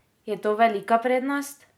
Je to velika prednost?